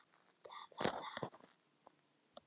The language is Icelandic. Þegar hún hótaði að hringja á lögregluna flýtti ég mér burt.